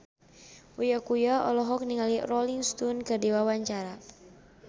Uya Kuya olohok ningali Rolling Stone keur diwawancara